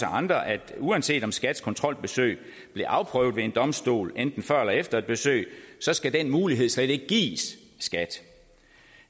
andre at uanset om skats kontrolbesøg bliver afprøvet ved en domstol enten før eller efter et besøg skal den mulighed slet ikke gives skat